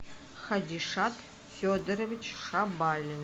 хадишат федорович шабалин